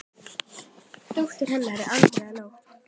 Dóttir hennar er Andrea Nótt.